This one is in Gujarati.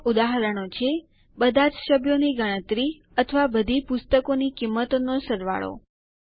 કેટલાક ઉદાહરણો છે બધાજ સભ્યોની ગણતરી અથવા બધી પુસ્તકોની કિંમતોનો સરવાળો